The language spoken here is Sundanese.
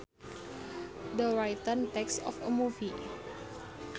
The written text of a movie